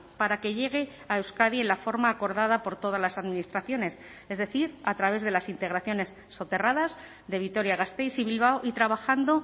para que llegue a euskadi en la forma acordada por todas las administraciones es decir a través de las integraciones soterradas de vitoria gasteiz y bilbao y trabajando